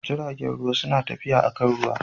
Jiragen ruwa suna tafiya akan ruwa